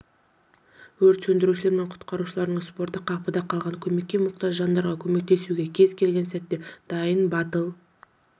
өрт сөндірушілер мен құтқарушылардың спорты қапыда қалған көмекке мұқтаж жандарға көмектесуге кез келген сәтте дайын батыл